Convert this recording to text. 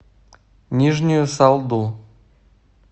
нижнюю салду